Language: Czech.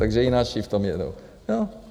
Takže i naši v tom jedou.